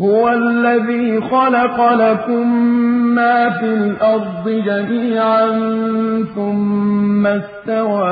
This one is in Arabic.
هُوَ الَّذِي خَلَقَ لَكُم مَّا فِي الْأَرْضِ جَمِيعًا ثُمَّ اسْتَوَىٰ